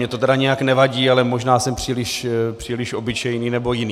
Mně to tedy nijak nevadí, ale možná jsem příliš obyčejný nebo jiný.